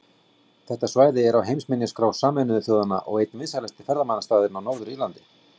Þetta svæði er á heimsminjaskrá Sameinuðu þjóðanna og einn vinsælasti ferðamannastaðurinn á Norður-Írlandi.